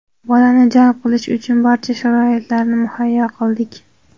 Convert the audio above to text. bolani jalb qilish uchun barcha sharoitlarni muhayyo qildik.